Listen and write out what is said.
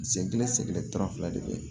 Sen kelen sɛgɛrɛ de be yen